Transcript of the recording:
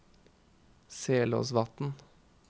Selåsvatn